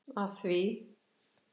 af því.